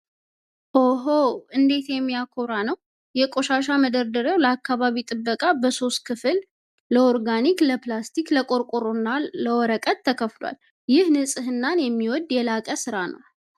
ኦሆ! እንዴት የሚያኮራ ነው! የቆሻሻ መደርደሪያው ለአካባቢ ጥበቃ በሶስት ክፍል (ለኦርጋኒክ፣ ለፕላስቲክ/ቆርቆሮ እና ለወረቀት) ተከፍሏል! ይህ ንፅህናን የሚወድ የላቀ ሥራ ነው!